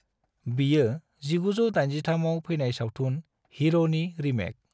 बियो 1983 आव फैनाय सावथुन हीरोनि रीमेक।